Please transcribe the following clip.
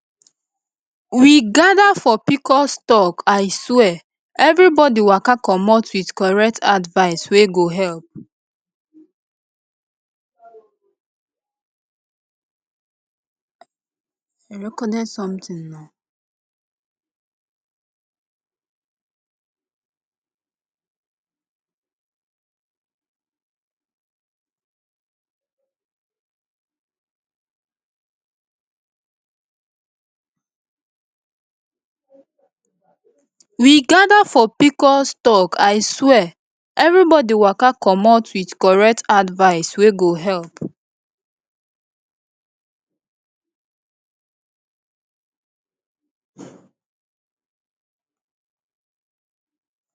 we gather for pcos talk aswear everybody waka commot with correct advice wey go help